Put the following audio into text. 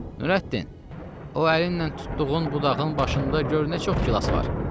Nürəddin, o əlinlə tutduğun budağın başında gör nə çox gilas var.